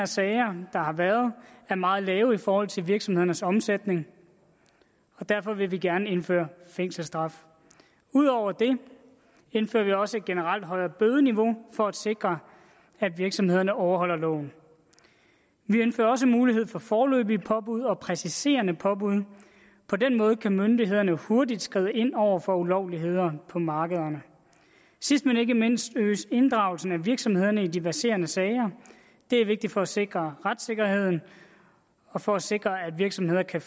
sager har været meget lave i forhold til virksomhedernes omsætning og derfor vil vi gerne indføre fængselsstraf ud over det indfører vi også et generelt højere bødeniveau for at sikre at virksomhederne overholder loven vi ønsker også mulighed for foreløbige påbud og præciserende påbud på den måde kan myndighederne hurtigt skride ind over for ulovligheder på markederne sidst men ikke mindst vil vi inddrage virksomhederne i de verserende sager det er vigtigt for at sikre retssikkerheden og for at sikre at virksomheder kan